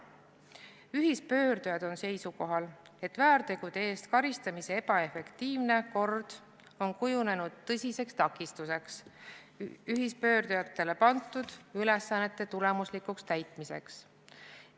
Ühispöördujad on seisukohal, et väärtegude eest karistamise ebaefektiivne kord on kujunenud tõsiseks takistuseks ühispöördujatele pandud ülesannete tulemuslikul täitmisel.